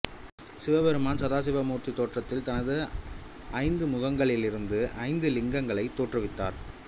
சிவபெருமான் சதாசிவ மூர்த்தி தோற்றத்தில் தனது ஐந்து முகங்களிலிருந்தும் ஐந்து லிங்கங்களை தோற்றுவித்தார்